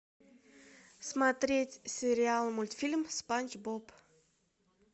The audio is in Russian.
смотреть сериал мультфильм спанч боб